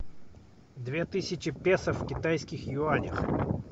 две тысячи песо в китайских юанях